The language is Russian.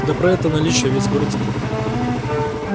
да про это наличие весь город знает